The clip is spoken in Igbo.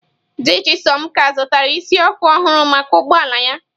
Di Chisom ka zụtara isi ọkụ ọhụrụ maka ụgbọ ala ya.